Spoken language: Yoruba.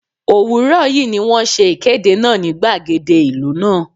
Òwúrọ̀ yí ni wón ṣe ìkéde náà ní gbàgede ìlú náà.